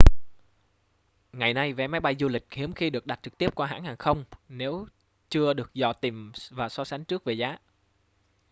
ngày nay vé máy bay du lịch hiếm khi được đặt trực tiếp qua hãng hàng không nếu chưa được dò tìm và so sánh trước về giá